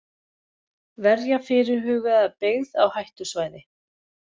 Verja fyrirhugaða byggð á hættusvæði.